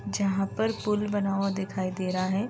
जहाँ पर पूल बना हुआ दिखाई दे रहा है।